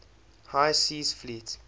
high seas fleet